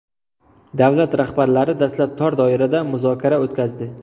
Davlat rahbarlari dastlab tor doirada muzokara o‘tkazdi.